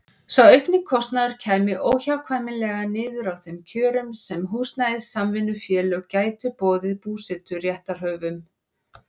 Sá aukni kostnaður kæmi óhjákvæmilega niður á þeim kjörum sem húsnæðissamvinnufélög gætu boðið búseturéttarhöfum.